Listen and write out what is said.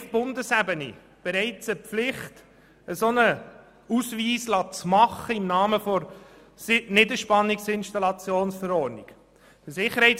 Auf Bundesebene besteht bereits eine Pflicht, einen solchen Ausweis erstellen zu lassen und zwar im Rahmen der Verordnung über elektrische Niederspannungsinstallationen (Niederspannungs-Installationsverordnung, NIV).